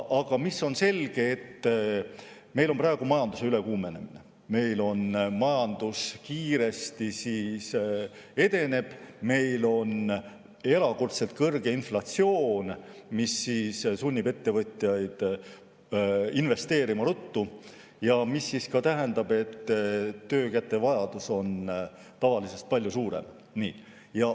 Aga on selge, et meil on praegu majanduse ülekuumenemine, meil majandus kiiresti edeneb, meil on erakordselt kõrge inflatsioon, mis sunnib ettevõtjaid ruttu investeerima, ja see tähendab, et töökätevajadus on tavalisest palju suurem.